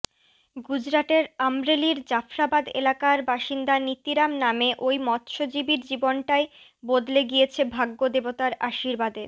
গুজরাতের আম্রেলির জাফরাবাদ এলাকার বাসিন্দা নীতিরাম নামে ওই মৎসজীবীর জীবনটাই বদলে গিয়েছে ভাগ্যদেবতার আশীর্বাদে